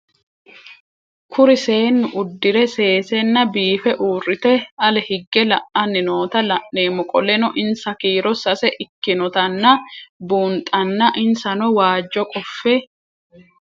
Kuri seenu udire sesena biife urite ale hige la'ani noota la'nemo qoleno insa kiiro sase ikinotana bunxana insano waajo qofe